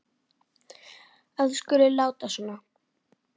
að þú skulir láta svona.